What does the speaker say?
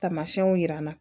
Tamasiyɛnw yira an na